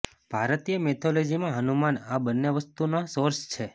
ભારતીય મેથોલોજીમાં હનુમાન આ બંને વસ્તુઓના સોર્સ છે